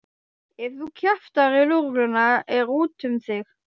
Ef þú kjaftar í lögregluna er úti um þig.